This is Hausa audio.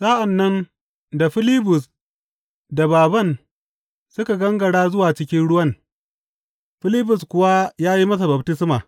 Sa’an nan da Filibus da bābān suka gangara zuwa cikin ruwan Filibus kuwa ya yi masa baftisma.